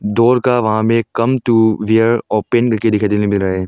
Door का वहां में कम टू वेयर ओपन लिखे मिल रहा है।